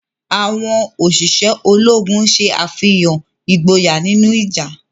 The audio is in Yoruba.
Awọn oṣiṣẹ Ológùn ṣe àfihàn ìgboyà nínú ìjà.